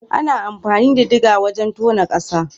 Ana amfani da digger wajen tona ƙasa.